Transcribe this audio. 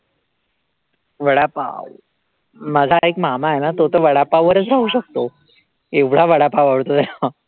वडापाव, माझा एक मामा आहे ना तो तर वडापाव वरचं राहू शकतो, एवढा वडापाव आवडतो त्याला